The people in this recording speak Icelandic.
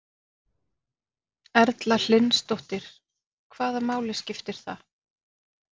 Erla Hlynsdóttir: Hvaða máli skiptir það?